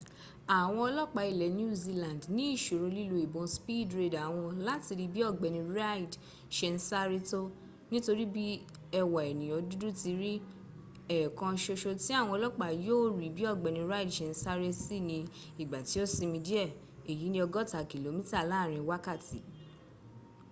àwọn ọlọ́pàá ilẹ̀ new zealand ní ìṣòro lílo ìbọn speed radar wọn láti rí bí ọ̀gbẹ́ni reid ṣe ń sáré tó nítorí bí ẹwà ẹ̀nìyàn dudu ti ri ẹ̀ẹ̀kan soso tí àwọn ọlọ́pàá yóò rí bí ọgbẹ́ni reid ṣe ń sáré sí ni ìgbà tí ó sinmi díẹ̀ èyi ni ọgọ́ta kìlómíta láàrin wákàtí